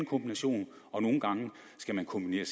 kombination og nogle gange skal man kombinere